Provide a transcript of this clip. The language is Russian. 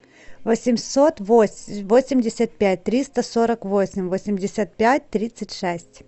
восемьсот восемьдесят пять триста сорок восемь восемьдесят пять тридцать шесть